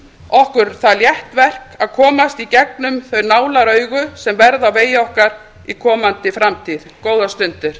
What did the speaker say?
okkur það létt verk að komast í gegnum þau nálaraugu sem verða á vegi okkar í komandi framtíð góðar stundir